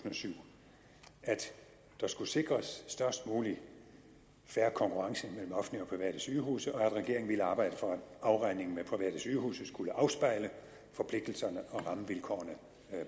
og syv at der skulle sikres størst mulig fair konkurrence mellem offentlige og private sygehuse og at regeringen ville arbejde for at afregningen med private sygehuse skulle afspejle forpligtelserne og rammevilkårene